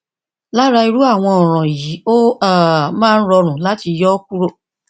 lára irú àwọn ọràn yìí ó um máa ń rọrùn láti yọ ó kúrò